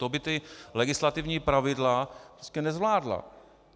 To by ta legislativní pravidla prostě nezvládla.